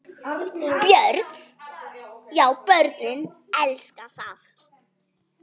Björn: Já börnin elska það?